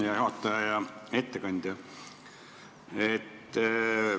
Hea juhataja ja ettekandja!